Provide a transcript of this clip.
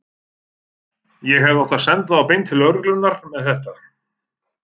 Ég hefði átt að senda þá beint til lögreglunnar með þetta.